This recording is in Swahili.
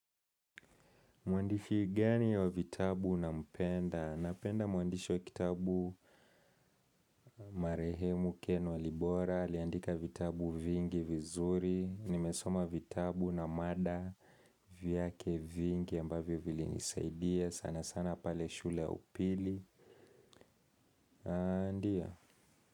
Mwandishi gani wa vitabu unampenda? Napenda mwandishi wa kitabu. Marehemu Ken Walibora, aliandika vitabu vingi vizuri, nimesoma vitabu na mada, vyake vingi, ambavyo vili nisaidia, sana sana pale shule ya upili, ndio.